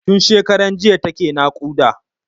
Tun shekaran jiya take naƙuda.